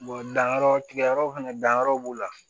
danyɔrɔ tigɛ yɔrɔw fɛnɛ danyɔrɔ b'u la